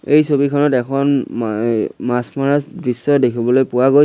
এই ছবিখনত এখন ম এই মাছ মৰা দৃশ্য দেখিবলৈ পোৱা গৈ--